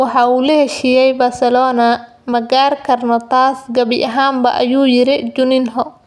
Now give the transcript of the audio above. Waxa uu la heshiiyay Barcelona, ​​ma qarin karno taas gabi ahaanba, ayuu yiri Juninho.